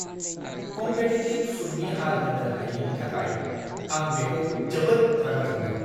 Competitive सुदनि हार होनो हायैनि थाखाय आं बेंखौ जोबोद रागा जोंदों।